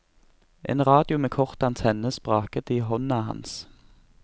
En radio med kort antenne spraket i hånda hans.